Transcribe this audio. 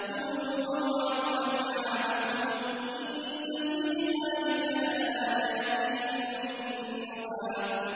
كُلُوا وَارْعَوْا أَنْعَامَكُمْ ۗ إِنَّ فِي ذَٰلِكَ لَآيَاتٍ لِّأُولِي النُّهَىٰ